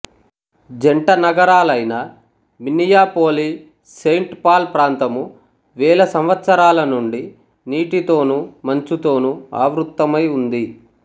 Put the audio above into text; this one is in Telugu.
జంటనగరాలైన మిన్నియాపోలిస్సెయింట్ పాల్ ప్రాంతము వేల సంవత్సరాల నుండి నీటితోను మంచుతోనూ ఆవృత్తమై ఉంది